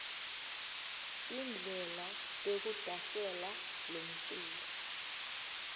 tindlela tekudasela lomculo